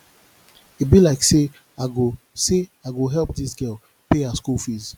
e be like sey i go sey i go help dis girl pay her skool fees